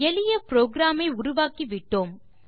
எளிய புரோகிராம் ஐ உருவாக்கிவிட்டோம்